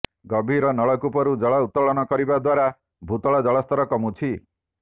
ଗଭୀର ନଳକୂପରୁ ଜଳ ଉତ୍ତୋଳନ କରିବା ଦ୍ୱାରା ଭୁତଳ ଜଳସ୍ତର କମୁଛି